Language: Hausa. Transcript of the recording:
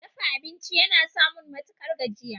Dafa abinci yana samun matukar gajiya.